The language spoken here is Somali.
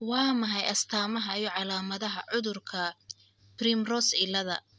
Waa maxay astamaha iyo calamadahaa cudurka 'Primrose ciilada